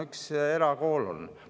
Üks erakool on.